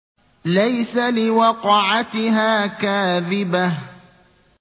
لَيْسَ لِوَقْعَتِهَا كَاذِبَةٌ